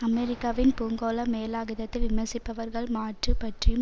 அமெரிக்காவின் பூங்கோள மேலாதிக்கத்தை விமர்சிப்பவர்கள் மாற்று பற்றியும்